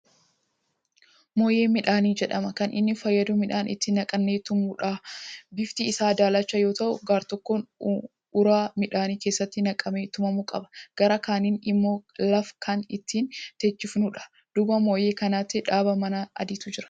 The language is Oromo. Mooyyee midhaanii jedhama .Kan inni fayyadu midhaan itti naqnee tumuufidha. bifti Isaa daalacha yoo ta'u gartokkoon uraa midhaan keessatti naqamee tumamu qaba. gara kaaniin immoo laf Kan ittiin teechisnudhu. duuba mooyyee kanaatti dhaabaa manaa adiitu Jira.